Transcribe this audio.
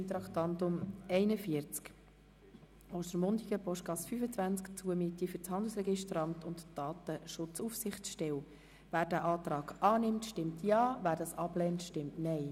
Wer den Antrag des Regierungsrats annimmt, stimmt Ja, wer diesen ablehnt, stimmt Nein.